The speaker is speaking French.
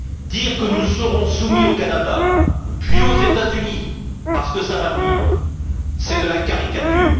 Dire que nous serons soumis au Canada puis aux États Unis parce que ça va venir c'est de la caricature.